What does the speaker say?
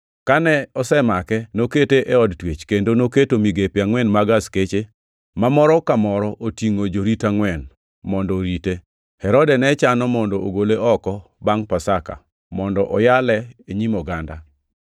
Kane osemake, nokete e od twech, kendo noketo migepe angʼwen mag askeche, ma moro ka moro otingʼo jorit angʼwen, mondo orite. Herode ne chano mondo ogole oko bangʼ Pasaka mondo oyale e nyim oganda.